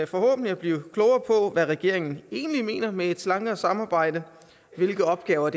forhåbentlig at blive klogere på hvad regeringen egentlig mener med et slankere samarbejde hvilke opgaver